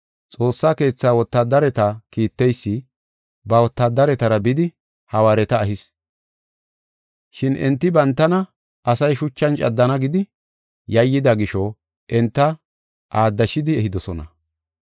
Xoossa Keethaa wotaadareta kiitteysi ba wotaadaretara bidi hawaareta ehis. Shin enti bantana asay shuchan caddana gidi yayyida gisho enta aaddashidi ehidosona.